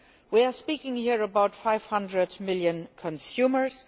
We are speaking here about 500 million consumers